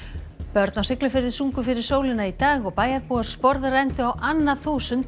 börn á Siglufirði sungu fyrir sólina í dag og bæjarbúar á annað þúsund